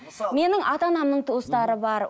менің ата анамның туыстары бар